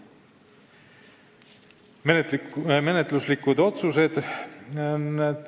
Nüüd menetluslikud otsused.